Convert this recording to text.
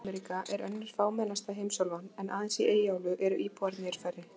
Suður-Ameríka er önnur fámennasta heimsálfan, aðeins í Eyjaálfu eru íbúarnir færri.